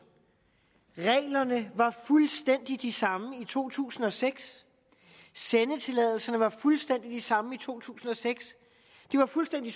reglerne var fuldstændig de samme i to tusind og seks sendetilladelserne var fuldstændig de samme i to tusind og seks det var fuldstændig